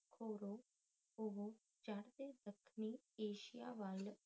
Asia ਵੱਲ